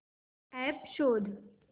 app शोध